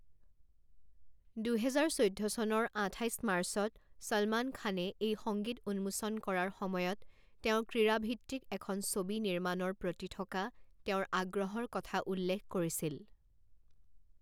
দুহেজাৰ চৈধ্য চনৰ আঠাইছ মাৰ্চত ছলমান খানে এই সংগীত উন্মোচন কৰাৰ সময়ত তেওঁ ক্ৰীড়া ভিত্তিক এখন ছবি নিৰ্মাণৰ প্ৰতি থকা তেওঁৰ আগ্ৰহৰ কথা উল্লেখ কৰিছিল।